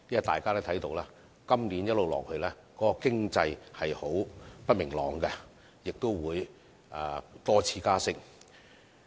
大家都看到，今年的經濟並不明朗，亦會多次加息。